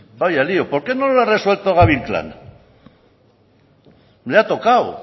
vaya lio por qué no lo ha resuelto gabi inclán le ha tocado